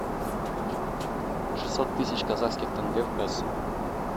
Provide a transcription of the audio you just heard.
шестьсот тысяч казахских тенге в песо